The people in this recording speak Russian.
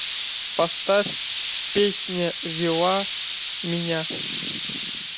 поставь песня вела меня